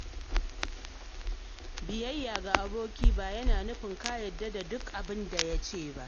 Biyayya ga aboki ba yana nufin ka yarda da duk abin da ya ce ba.